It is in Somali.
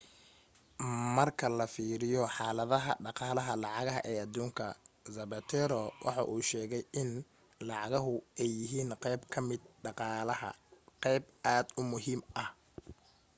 marka la fiiriyo xaaladaha dhaqaalaha lacagaha ee aduunka zapatero waxa uu sheegay in lacagahu ay yihiin qeyb kamida dhaqaalaha qeyb aad u muhiim ah